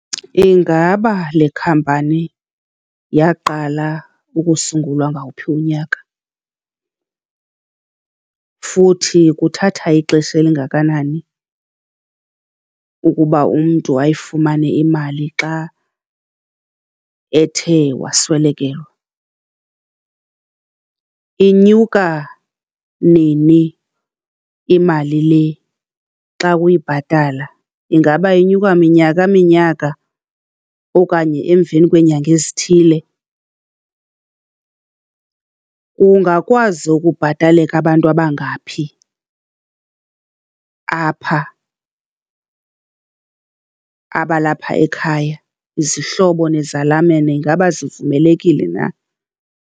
Ingaba le company yaqala ukusungulwa ngawuphi unyaka, futhi kuthatha ixesha elingakanani ukuba umntu ayifumane imali xa ethe waswelekelwa? Inyuka nini imali le xa uyibhatala? Ingaba inyuka minyaka minyaka okanye emveni kweneyanga ezithile? Kungakwazi ukubhataleka abantu abangaphi apha abalapha ekhaya? Izihlobo nezalamane ingaba zivumelekile na?